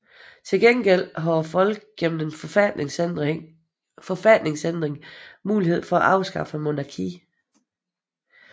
Til gengæld har folket gennem en forfatningsændring mulighed for at afskaffe monarkiet